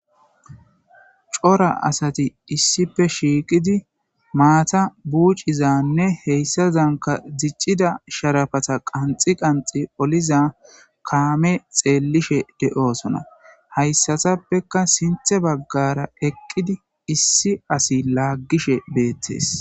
cora asati issipe shiiqidi maata buucizanne heyssazanka diccida sharafata qanxi qanxi oliza kaame xeellishe de7osona hayssatappeka sinthe baggara eqqidi issi asi laaggishe beettees